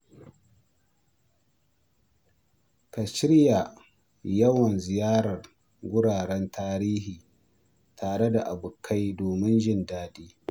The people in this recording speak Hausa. Ka shirya yawon ziyarar wuraren tarihi tare da abokai domin jin daɗi.